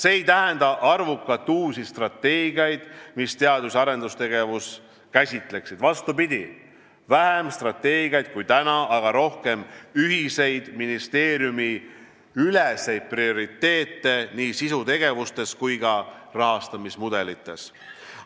See ei tähenda arvukalt uusi strateegiaid, mis teadus- ja arendustegevust käsitleksid, vastupidi, vähem strateegiaid kui täna, aga rohkem ühiseid ministeeriumiüleseid prioriteete nii sisutegevustes kui ka rahastamismudelites.